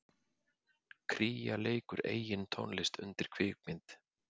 Kría leikur eigin tónlist undir kvikmynd